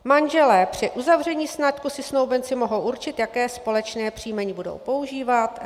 Manželé - při uzavření sňatku si snoubenci mohou určit, jaké společné příjmení budou používat.